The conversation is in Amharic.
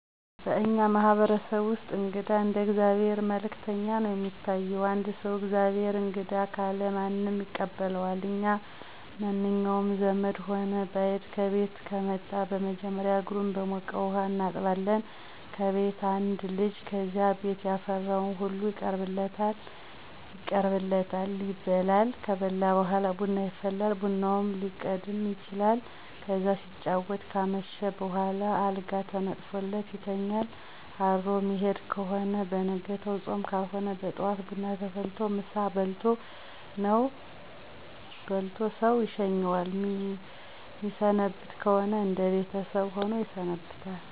በእኛ ማህበረሰብ እንግዳ እንደ የእግዚአብሔር መልእክተኛ ነው የሚታይ። አንድ ሰው። “ የእግዚአብሔር እንግዳ“ ካለ ማንም ይቀበለዋል እና መንኛውም ዘመድም ሆነ በይድ ከቤት ከመጣ መጀመሪያ እግሩን በሞቀ ውሀ እናጥበዋለን ከቤት አንድ ልጅ ከዚያ ቤት ያፈራው ሁሉ ይቀርብለታል ይበላል። ከበላ በኋላ ቡና ይፈላል ቡናውም ሊቀድም ይችላል። ከዚያ ሲጫወቱ ካመሹ በኋላ አልጋ ተነጥፎለት ይተኛል አድሮ ሚሄድ ከሆነ በነጋው ጾም ካልሆነ በጠዋት ቡና ተፈልቶለት ምሳ በልቶ ሰው ይሸኘዋል። ሚሰነብት ከሆነ እነደ ቤተሰብ ሆኖ ይሰነብታል።